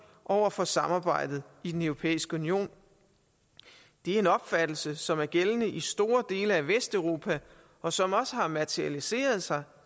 over for samarbejdet i den europæiske union det er en opfattelse som er gældende i store dele af vesteuropa og som også har materialiseret sig